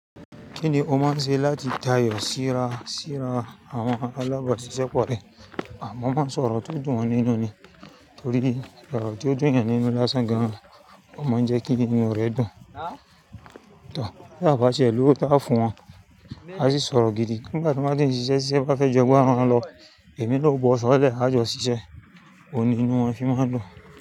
Kíni o máa ń ṣe láti tayọ̀ síra àwọn alába siṣẹ́ pọ̀ rẹ? Mo máa ń sọ̀rọ̀ tó dùn wọn nínú ni torí orò tó dùn ènìyàn nínú lásán gan an, ó máa ń jẹ́ kí inú rẹ̀ dùn. Tòor, tí àbàṣẹ̀ lọ́wọ́ tá fún wọn, a sì sọ̀rọ̀ gidi ngbàtí wọ́n bá ti ń ṣiṣẹ́, ti iṣẹ́ bá fẹ́ jọ bú wọn lọ, èmi na ó bọ́ sọ́ lẹ̀ a jọ ṣiṣẹ́. Ó ní inú wọn fi máa ń dùn.